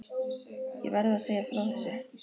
Ég verð að segja frá þessu.